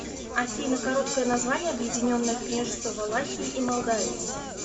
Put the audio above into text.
афина короткое название объединенное княжество валахии и молдавии